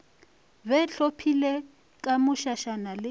be hlophilwe ka mošašana le